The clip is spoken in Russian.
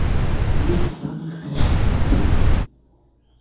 я не стану их перечислять